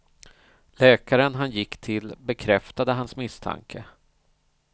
Läkaren han gick till bekräftade hans misstanke.